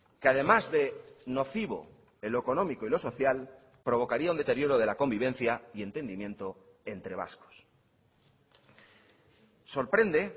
que además de nocivo en lo económico y lo social provocaría un deterioro de la convivencia y entendimiento entre vascos sorprende